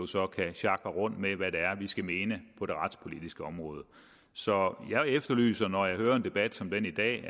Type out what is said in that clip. så kan sjakre rundt med hvad det er skal mene på det retspolitiske område så jeg efterlyser når jeg hører en debat som den i dag at